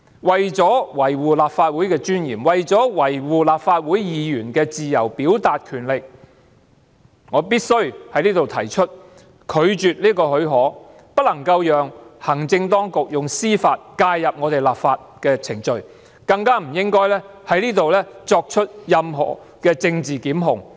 為了維護立法會的尊嚴，為了維護立法會議員自由表達的權力，我必須在此提出拒絕給予這項許可，不能讓行政當局以司法方式介入我們立法的程序，更不應在此作出任何政治檢控。